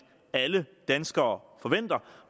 alle danskere forventer